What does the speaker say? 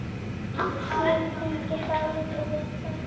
Ég tengi dálítið við það.